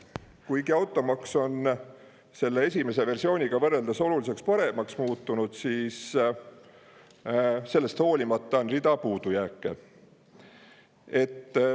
Kuigi automaks on selle esimese versiooniga võrreldes oluliselt paremaks muutunud, on sellest hoolimata rida puudujääke.